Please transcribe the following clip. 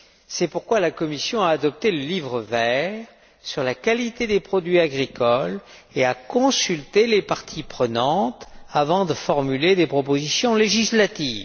C'est pourquoi la Commission a adopté le livre vert sur la qualité des produits agricoles et a consulté les parties prenantes avant de formuler des propositions législatives.